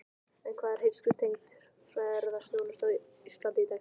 En hvar er heilsutengd ferðaþjónusta á Íslandi í dag?